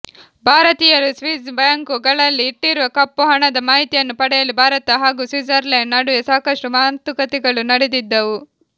ಭಾರತೀಯರು Swiss bank ಗಳಲ್ಲಿ ಇಟ್ಟಿರುವ ಕಪ್ಪು ಹಣದ ಮಾಹಿತಿಯನ್ನು ಪಡೆಯಲು ಭಾರತ ಹಾಗೂ ಸ್ವಿಜರ್ಲೆಂಡ್ ನಡುವೆ ಸಾಕಷ್ಟುಮಾತುಕತೆಗಳು ನಡೆದಿದ್ದವು